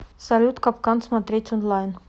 салют капкан смотреть онлайн